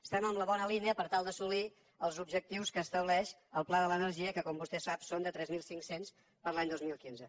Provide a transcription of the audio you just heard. estem en la bona línia per tal d’assolir els objectius que estableix el pla de l’energia que com vostè sap són de tres mil cinc cents per a l’any dos mil quinze